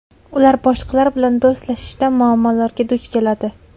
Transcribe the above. Ular boshqalar bilan do‘stlashishda muammolarga duch keladi.